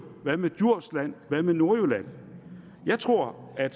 hvad med djursland hvad med nordjylland jeg tror at